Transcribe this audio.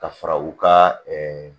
Ka fara u ka